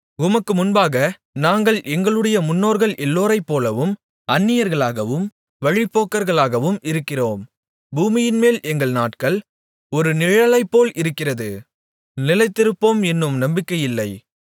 உமக்கு முன்பாக நாங்கள் எங்களுடைய முன்னோர்கள் எல்லோரைப்போலவும் அந்நியர்களாகவும் வழிப்போக்கர்களாகவும் இருக்கிறோம் பூமியின்மேல் எங்கள் நாட்கள் ஒரு நிழலைப்போல இருக்கிறது நிலைத்திருப்போம் என்னும் நம்பிக்கையில்லை